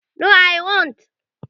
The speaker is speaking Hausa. No, I won't